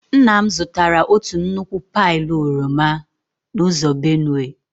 Nna m zụtara otu nnukwu pailu oroma n'ụzọ Benue.